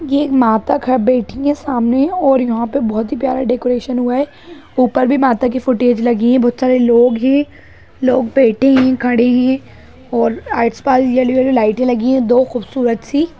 एक मतक है बैठी है सामने और यहाँ पे बहुत ही प्यार डेकोरेशन हुआ है ऊपर भी माता फुटेज लगी है और बहुत सारे लोग है लोग बैठे है खड़े है और आस-पास येलो येलो लाइटे लगी है दो खूबसूरत सी --